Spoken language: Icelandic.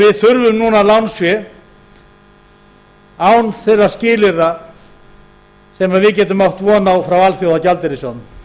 við þurfum núna lánsfé án þeirra skilyrða sem við getum átt von á frá alþjóðagjaldeyrissjóðnum